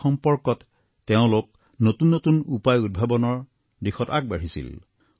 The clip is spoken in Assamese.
এই সম্পৰ্কত তেওঁলোক নতুন নতুন উপায় উদ্ভাৱনৰ দিশত আগবাঢ়িছিল